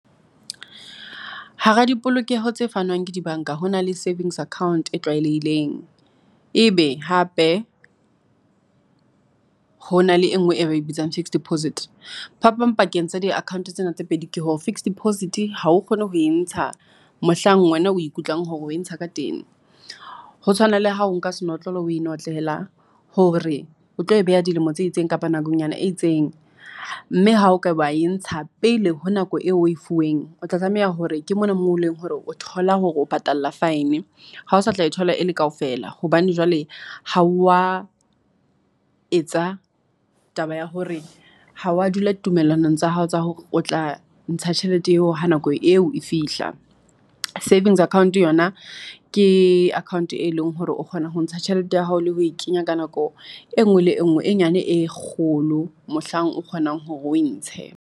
Hara dipolokeho tse fanwang ke di-bank-a. Ho na le savings account e tlwaelehileng. Ebe hape, hona le e nngwe e ba ibitsang fixed deposit. Phapang pakeng tsa di-account tsena tse pedi ke hore, fixed deposit hao kgone ho e ntsha mohlang wena o e kutlwang hore o ntsha ka teng. Ho tshwana le hao nka senotlolo o e notlela. Hore o tlo e beha dilemo tse itseng, kapa nakonyana e itseng. Mme ha okaba e ntsha pele ho nako eo o e fuweng, o tla tlameha hore ke mona mo leng hore o thola hore o patala fine. Ha o sa tla thola e le kaofela. Hobane jwale ha wa etsa taba ya hore ha wa dula ditumellanong tsa hao tsa hore o tla ntsha tjhelete eo ha nako eo e fihla. Savings Account yona, ke account e leng hore o kgona ho ntsha tjhelete ya hao le ho kenya ka nako e nngwe le e nngwe nyane e kgolo. Mohlang o kgonang hore o e ntshe.